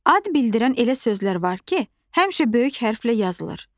Ad bildirən elə sözlər var ki, həmişə böyük hərflə yazılır.